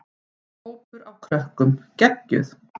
Hópur af krökkum: Geggjuð.